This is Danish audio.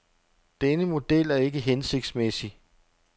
Denne model er ikke hensigtsmæssig.